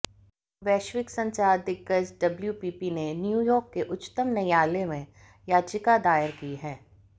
वैश्विक संचार दिग्गज डब्ल्यूपीपी ने न्यूयार्क के उच्चतम न्यायालय में याचिका दायर की है